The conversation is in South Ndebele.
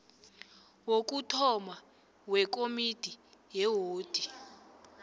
wokuthoma wekomidi yewodi